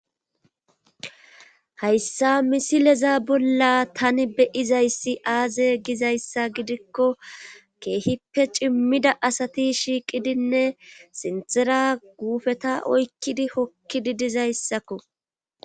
hayssa misileza bolla tani beyizayssi aaze gizayssa gidikko keehippe cimmida asati shiiqidinne sintera guufeta oykkidi hokkidi dizayssakko